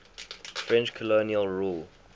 french colonial rule